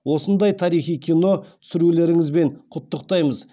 осындай тарихи кино түсірулеріңізбен құттықтаймыз